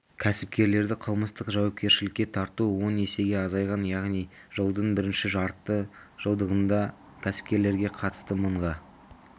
кәсіпкерлерді қылмыстық жауапкершілікке тарту он есеге азайған яғни жылдың бірінші жарты жылдығында кәсіпкерлерге қатысты мыңға